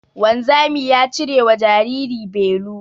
Wanzami ya cirewa jariri belu